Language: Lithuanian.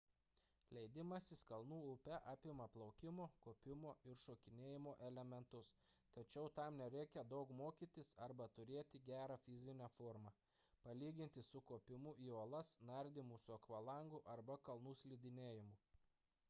leidimasis kalnų upe apima plaukimo kopimo ir šokinėjimo elementus tačiau tam nereikia daug mokytis arba turėti gerą fizinę formą palyginti su kopimu į uolas nardymu su akvalangu arba kalnų slidinėjimu